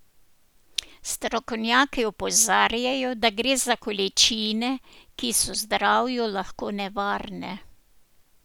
Strokovnjaki opozarjajo, da gre za količine, ki so zdravju lahko nevarne.